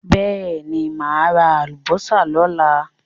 Bẹ́ẹ̀ ni, máa ra àlùbọ́sà lọ́la.